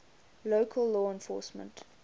local law enforcement